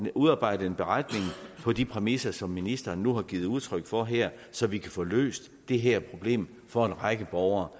udarbejdes en beretning på de præmisser som ministeren nu har givet udtryk for her så vi kan få løst det her problem for en række borgere